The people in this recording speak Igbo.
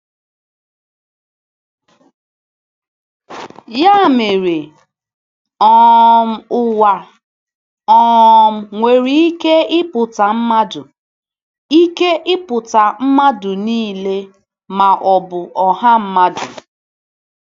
Ya mere “ um ụwa ” um nwere ike ịpụta mmadụ ike ịpụta mmadụ niile, ma ọ bụ ọha mmadụ.